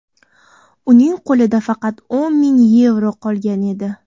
Uning qo‘lida faqat o‘n ming yevro qolgan edi.